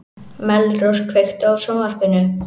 Melrós, kveiktu á sjónvarpinu.